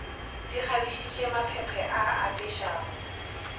di kgabišitše maphephe a apešago